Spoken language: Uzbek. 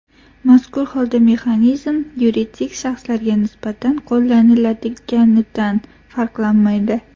Mazkur holda mexanizm yuridik shaxslarga nisbatan qo‘llaniladiganidan farqlanmaydi.